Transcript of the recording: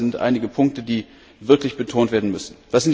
Ich glaube, das sind einige Punkte, die wirklich betont werden müssen.